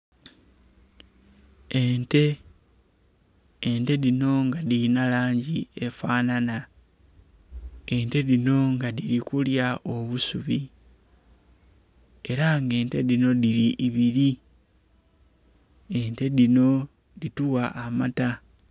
Ente, ente dhino nga dhirinha langi efanhanha, ente dhino nga dhiri kulya obusubi era nga ente dhino dhiri ibiri, ente dhino dhitugha amaata.